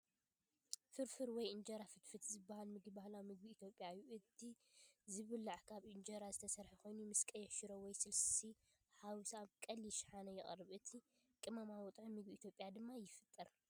"ፋርፋር" ወይ "እንጀራ ፍትፋት" ዝበሃል ምግቢ ባህላዊ ምግቢ ኢትዮጵያ እዩ። እቲ ዝብላዕ ካብ እንጀራ ዝተሰርሐ ኮይኑ፡ ምስ ቀይሕ ሽሮ ወይ ስልሲተሓዋዊሱ ኣብ ቀሊል ሻሓነ ይቐርብ። ነቲ ቀመማዊ ጥዑም ምግቢ ኢትዮጵያ ድማ ይፈጥር።